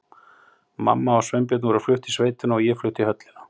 Mamma og Sveinbjörn voru flutt í sveitina og ég flutt í höllina.